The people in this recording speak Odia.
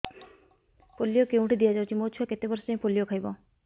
ପୋଲିଓ କେଉଁଠି ଦିଆଯାଉଛି ମୋ ଛୁଆ କେତେ ବର୍ଷ ଯାଏଁ ପୋଲିଓ ଖାଇବ